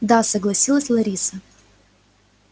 да согласилась лариса